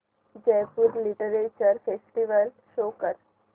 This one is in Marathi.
जयपुर लिटरेचर फेस्टिवल शो कर